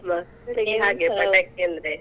ಪಟಾಕಿ ಅಂದ್ರೆ.